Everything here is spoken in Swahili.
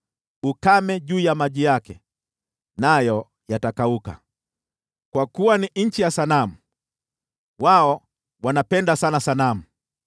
Ukame juu ya maji yake! Nayo yatakauka. Kwa kuwa ni nchi ya sanamu, wao wanaenda wazimu kwa ajili ya sanamu.